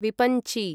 विपञ्ची